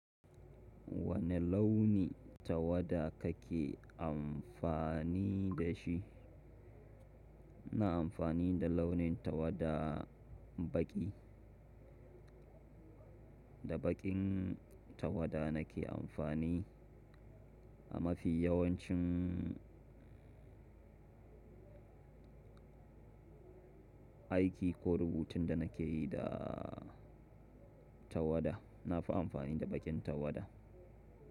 Wane launi tawada kake amfani da shi? Na amfani da launin tawada baƙi. Da baƙin tawada na ke amfani a mafi yawancin aiki ko rubutun da na ke yi da tawada. Na fi amfani da baƙin tawada.